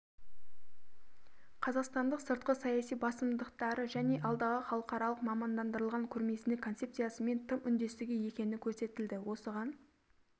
қазақстандық сыртқы саяси басымдықтары және алдағы халықаралық мамандандырылған көрмесінің концепциясымен тым үндесті екені көрсетілді осыған